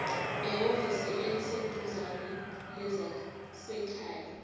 ehhovisi eliseduzane lezasekhaya